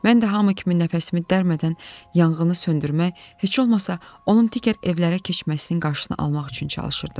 Mən də hamı kimi nəfəsimi dərmədən yanğını söndürmək, heç olmasa onun digər evlərə keçməsinin qarşısını almaq üçün çalışırdım.